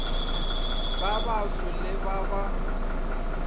ba baso le ba ba